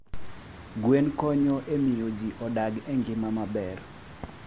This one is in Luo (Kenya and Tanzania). gwen konyo e miyo ji odag e ngima maber.